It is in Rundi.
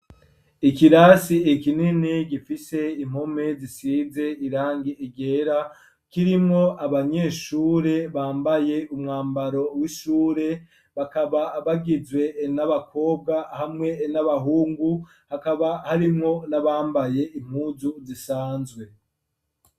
Ikirasi kinini gifise impome zisize irangi ryera, kirimwo abanyeshure bambaye umwambaro w'ishure, bakaba bagizwe n'abakobwa hamwe n'abahungu, hakaba harimwo n'abambaye impuzu zisanzwe.